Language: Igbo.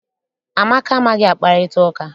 Amaka amaghị akparịta ụka.